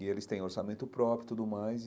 E eles têm orçamento próprio e tudo mais.